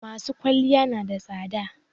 masu kwalliya nada tsada